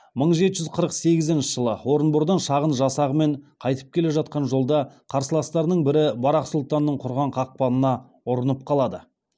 мың жеті жүз қырық сегізінші жылы орынбордан шағын жасағымен қайтып келе жатқан жолда қарсыластарының бірі барақ сұлтанның құрған қақпанына ұрынып қалады